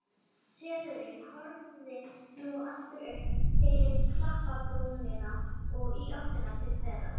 Selurinn horfði nú aftur upp fyrir klapparbrúnina og í áttina til þeirra.